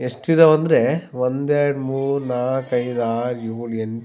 ಎಷ್ಟಿದಾವ್ ಅಂದ್ರೆ ಒಂದ್ ಎರಡು ಮೂರ್ ನಾಕ್ ಐದ್ ಆರ್ ಏಳ್ ಎಂಟ್.